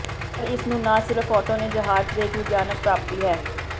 ਪਰ ਇਸ ਨੂੰ ਨਾ ਸਿਰਫ ਔਟੋ ਨੇ ਜਹਾਜ਼ ਦੇ ਇੱਕ ਵਿਗਿਆਨਕ ਪ੍ਰਾਪਤੀ ਹੈ